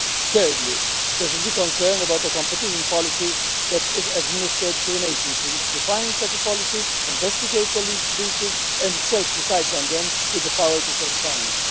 Thirdly, there should be concern about a competition policy that is administered through an agency which defines such policy, investigates alleged breaches and itself decides on them with the power to set fines.